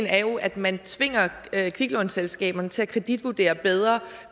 er jo at man tvinger kviklånselskaberne til at kreditvurdere bedre